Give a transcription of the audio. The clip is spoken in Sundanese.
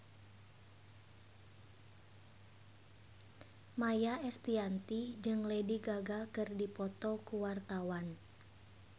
Maia Estianty jeung Lady Gaga keur dipoto ku wartawan